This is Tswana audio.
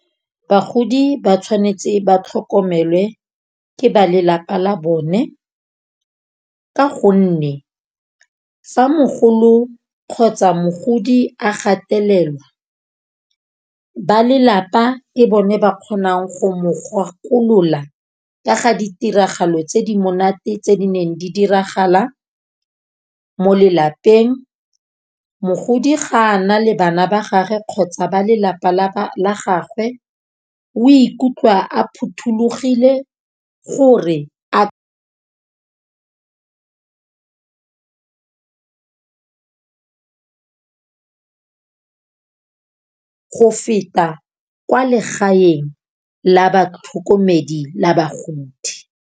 Bagodi ba tshwanetse ba tlhokomelwe ke ba lelapa la bone. Ka gonne fa mogolo kgotsa mogodi a gatelelwa ba lelapa ke bone ba kgonang go mo gakolola, ka ga ditiragalo tse di monate tse di neng di diragala mo lelapeng. Mogodi ga a na le bana ba gage kgotsa ba lelapa la la gagwe, o ikutlwa a phothulogile gore a go feta kwa legaeng la batlhokomedi la bagodi.